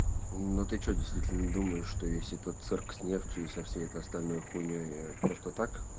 ну ты что действительно думаешь что весь этот цирк с нефтью и со всей этой остальной хуйней просто так